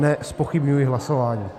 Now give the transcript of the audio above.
Nezpochybňuji hlasování.